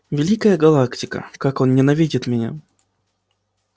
великая галактика как он ненавидит меня